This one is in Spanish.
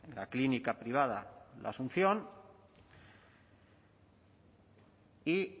la clínica privada la asunción y